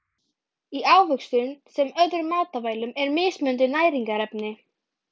Í ávöxtum sem öðrum matvælum eru mismunandi næringarefni.